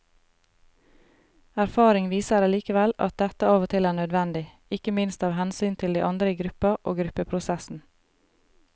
Erfaring viser allikevel at dette av og til er nødvendig, ikke minst av hensyn til de andre i gruppa og gruppeprosessen.